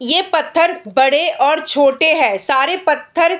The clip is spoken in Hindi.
ये पत्थर बड़े और छोटे है सारे पत्थर --